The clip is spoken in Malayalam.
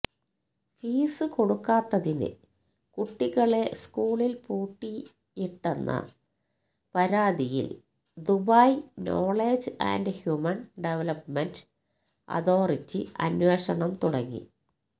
ഫീസ് കൊടുക്കാത്തതിന് കുട്ടികളെ സ്കൂളില് പൂട്ടിയിട്ടെന്ന പരാതിയില് Dubai knowledge and human development authority അന്വേഷണം തുടങ്ങി